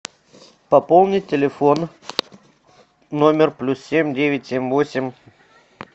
пополнить телефон номер плюс семь девять семь восемь